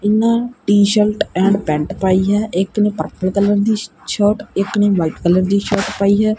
ਇਨਾ t shirt and pant ਪਾਈ ਹੈ ਇਕ ਨੂੰ ਪਰਪਲ ਕਲਰ ਦੀ ਸ਼ਰਟ ਇੱਕ ਨੇ ਵਾਈਟ ਕਲਰ ਦੀ ਸ਼ਰਟ ਪਾਈ ਹੈ।